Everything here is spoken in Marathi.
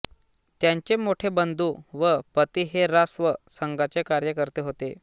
त्यांचे मोठे बंधू व पती हे रा स्व संघाचे कार्यकर्ते होते